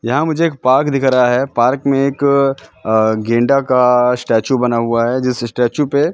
यहाँ मुझे एक पार्क दिख रहा हैं पार्क में एक अह गेंडा का स्टॅचू बना हुवा हैं जिस स्टॅचू पे --